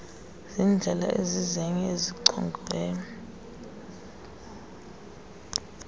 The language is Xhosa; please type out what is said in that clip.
zindlela ezizenye ezichongiweyo